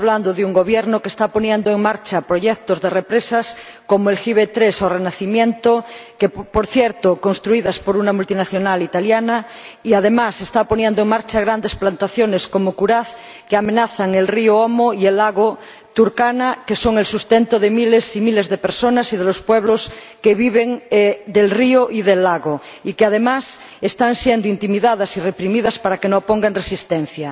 de un Gobierno que está poniendo en marcha proyectos de embalses, como Gibe III o Renacimiento —por cierto, construidos por una multinacional italiana—, y, además, está poniendo en marcha grandes plantaciones, como en Kuraz, que amenazan el río Omo y el lago Turkana, que son el sustento de miles y miles de personas y de los pueblos que viven del río y del lago, que, además, están sufriendo intimidación y represión para que no opongan resistencia.